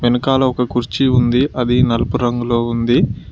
ఎనకాల ఒక కుర్చీ ఉంది అది నలుపు రంగులో ఉంది.